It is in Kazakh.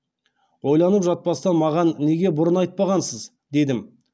ойланып жатпастан маған неге бұрын айтпағансыз дедім